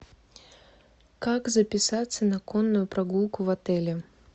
как записаться на конную прогулку в отеле